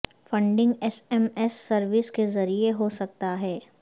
funding S M S service کے ذریعے ہو سکتا ہے